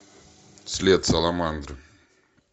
след саламандры